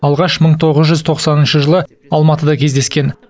алғаш мың тоғыз жүз тоқсаныншы жылы алматыда кездескен